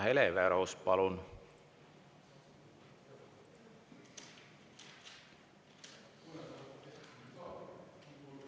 Hele Everaus, palun!